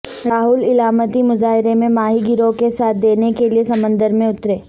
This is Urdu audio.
راہل علامتی مظاہرے میں ماہی گیروں کا ساتھ دینے کےلئے سمندر میں اترے